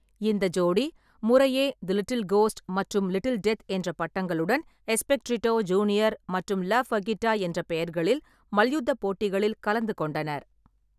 இந்த ஜோடி முறையே 'தி லிட்டில் கோஸ்ட்' மற்றும் 'லிட்டில் டெத்' என்ற பட்டங்களுடன் எஸ்பெக்ட்ரிடோ ஜூனியர் மற்றும் லா ஃபர்கிட்டா என்ற பெயர்களில் மல்யுத்தப் போட்டிகளில் கலந்துகொண்டனர்.